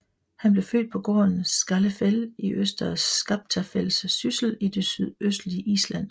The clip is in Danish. Han blev født på gården Skálafell i Øster Skaptafells Syssel i det sydøstlige Island